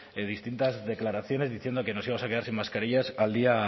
de distintas declaraciones diciendo que nos íbamos a quedar sin mascarillas al día